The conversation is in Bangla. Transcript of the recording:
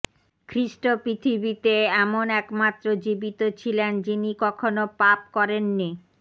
খ্রীষ্ট পৃথিবীতে এমন একমাত্র জীবিত ছিলেন যিনি কখনো পাপ করেননি